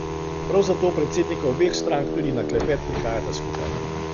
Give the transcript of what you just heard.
Prav zato predsednika obeh strank tudi na klepet prihajata skupaj.